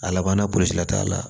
A labanna burusi la t'a la